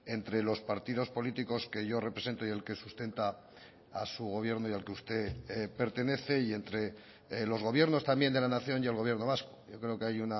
entre los partidos políticos que yo represento y el que sustenta a su gobierno y al que usted pertenece y entre los gobiernos también de la nación y el gobierno vasco yo creo que hay